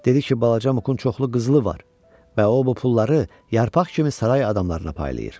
Dedi ki, balaca Mukun çoxlu qızılı var və o bu pulları yarpaq kimi saray adamlarına paylayır.